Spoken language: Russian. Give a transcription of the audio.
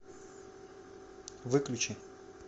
выключи